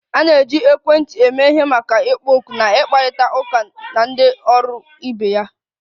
A na-eji ekwentị eme ihe maka ịkpọ oku na ịkparịta ụka na ndị ọrụ ibe ya